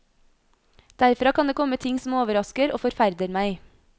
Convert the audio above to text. Derfra kan det komme ting som overrasker og forferder meg.